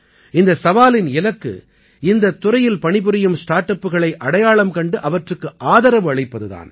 இந்த சவாலின் இலக்கு இந்தத் துறையில் பணிபுரியும் ஸ்டார்ட் அப்புகளை அடையாளம் கண்டு அவற்றுக்கு ஆதரவளிப்பது தான்